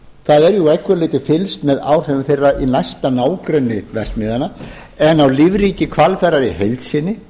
það er jú að einhverju leyti fylgst með áhrifum þeirra í næsta nágrenni verksmiðjanna en á lífríki hvalfjarðar í heild sinni